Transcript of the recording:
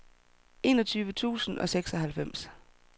enogtyve tusind og seksoghalvfems